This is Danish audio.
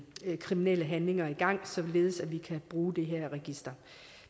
kriminelle handlinger i gang således at vi kan bruge det her register